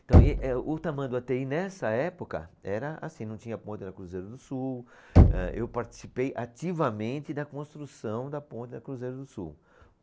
Então e, eh, o Tamanduateí nessa época era assim, não tinha a ponte da Cruzeiro do Sul, eh, eu participei ativamente da construção da ponte da Cruzeiro do Sul.